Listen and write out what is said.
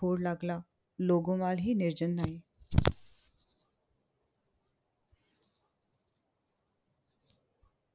लागला. लोगोमवाल ही निर्जन नाही.